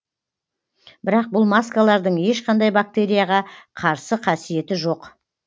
бірақ бұл маскалардың ешқандай бактерияға қарсы қасиеті жоқ